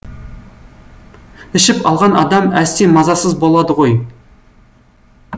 ішіп алған адам әсте мазасыз болады ғой